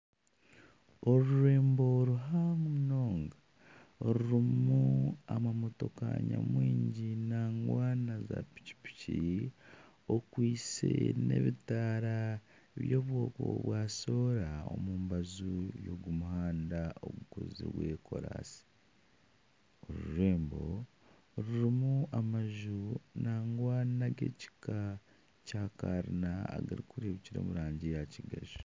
Orurembo ruhango munonga orurimu amamotoka nyamwingi nangwa na zapikiki okwaitse na ebitaara bya soora omu mbaju y'ogu muhanda ogukozirwe koraasi. Orurembo rurimu amaju nangwa n'agekika kya karina agari kureebukira omu rangi ya kigaju.